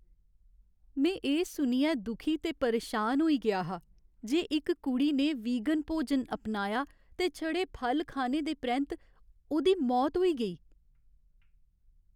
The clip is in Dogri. में एह् सुनियै दुखी ते परेशान होई गेआ हा जे इक कुड़ी ने वीगन भोजन अपनाया ते छड़े फल खाने दे परैंत्त ओह्दी मौत होई गेई।